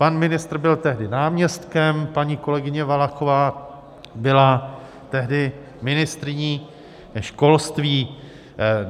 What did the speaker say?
Pan ministr byl tehdy náměstkem, paní kolegyně Valachová byla tehdy ministryní školství.